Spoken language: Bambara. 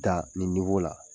Da nin la